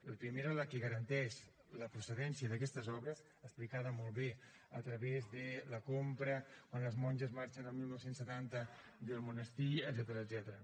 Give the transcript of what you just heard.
la primera la que garanteix la procedència d’aquestes obres explicada molt bé a través de la compra quan les monges marxen al dinou setanta del monestir etcètera